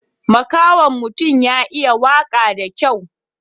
Makahon mutun ya iya waka da kyau.